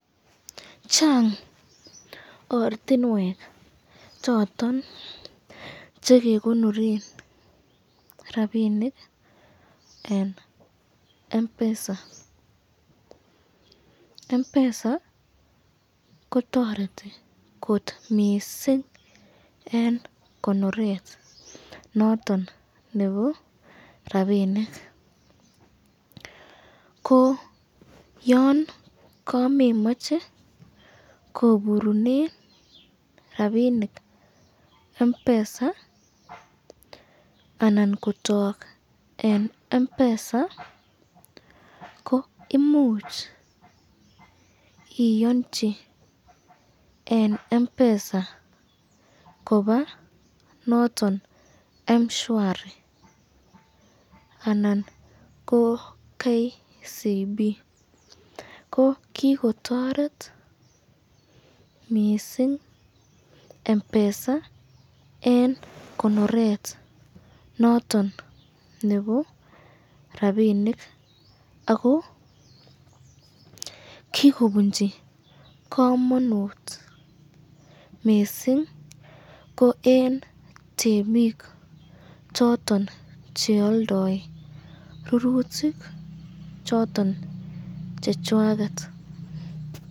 Chang ortinwek choton chekekonoren rapinik eng Mpesa, Mpesa kotoreti kot missing eng konoret noton nebo rapinik, ko yan kamemache koburunen rapinik Mpesa anan kotok eng Mpesa ko imuch iyanchi eng Mpesa koba noton mshwsri anan ko KCB, ko kikotoret mising Mpesa eng konoret noton nebo rapinik ako kikobunchi kamanut mising ,ko eng temik choton chealdae rurutik choton chechwaket.